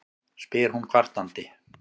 spyr hún kvartandi.